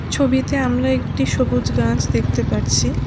ছবিতে আমরা একটি সবুজ গাছ দেখতে পারছি।